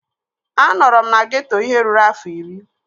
Anọrọ m na geeto ihe ruru afọ iri